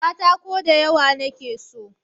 katako da yawa na ke so